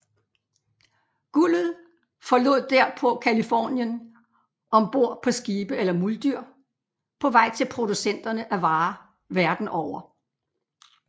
Guldet forlod derpå Californien om bord på skibe eller muldyr på vej til producenterne af varer verden over